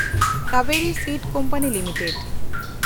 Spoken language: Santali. Kaveri seed company limited